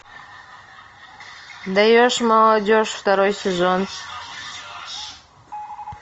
даешь молодежь второй сезон